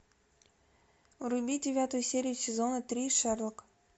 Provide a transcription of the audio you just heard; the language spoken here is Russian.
вруби девятую серию сезона три шерлок